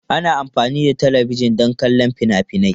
Ana amfani da talabijin don kallon fina-finai.